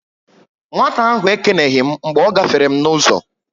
Nwata ahụ ekeneghi m mgbe ọ gáfèrè m n'uzo